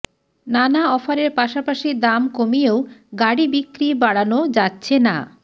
নানা অফারের পাশাপাশি দাম কমিয়েও গাড়ি বিক্রি বাড়ানো যাচ্ছে না